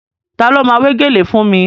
Ta ló ma wé gèlè fún mi?